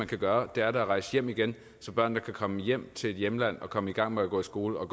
kan gøre da at rejse hjem igen så børnene kan komme hjem til deres hjemland og komme i gang med at gå i skole og